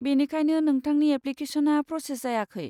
बेनिखायनो नोंथांनि एप्लिकेश'ना प्रसेज जायाखै।